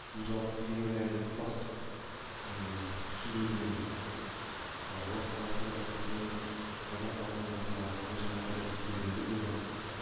бұл жалпы бейнебаянның тұтас сюжетінің уақиғасы біздің қазақ халқының басына қаншама тарихи кезеңдер болған